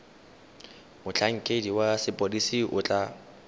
motlhankedi wa sepodisi o tla